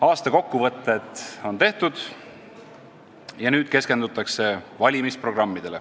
Aasta kokkuvõtted on tehtud ja nüüd keskendutakse valimisprogrammidele.